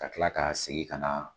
Ka tila ka segin ka na